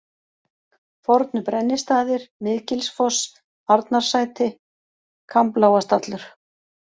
Fornu-Brennistaðir, Miðgilsfoss, Arnarsæti, Kamblágastallur